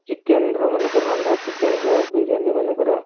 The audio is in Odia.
chicken ର ମାନେ ରନ୍ଧା chicken ର ବିରିୟାନୀ ମନେକର